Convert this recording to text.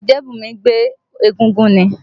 Ọ̀jẹ́bùnmí gbé egúngún ni.